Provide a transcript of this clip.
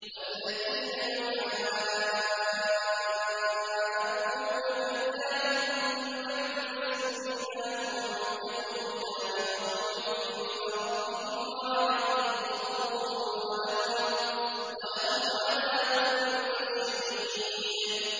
وَالَّذِينَ يُحَاجُّونَ فِي اللَّهِ مِن بَعْدِ مَا اسْتُجِيبَ لَهُ حُجَّتُهُمْ دَاحِضَةٌ عِندَ رَبِّهِمْ وَعَلَيْهِمْ غَضَبٌ وَلَهُمْ عَذَابٌ شَدِيدٌ